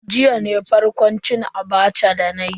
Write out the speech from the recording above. Jiya ne farkon cin Abacha dana yi.